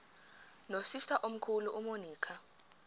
nosister omkhulu umonica